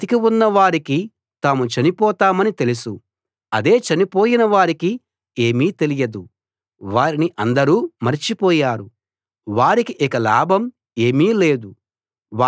బతికి ఉన్న వారికి తాము చనిపోతామని తెలుసు అదే చనిపోయిన వారికి ఏమీ తెలియదు వారిని అందరూ మరచిపోయారు వారికి ఇక లాభం ఏమీ లేదు